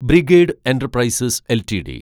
brigade Enterprises LTD